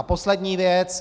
A poslední věc.